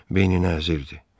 Beyninə əzildi.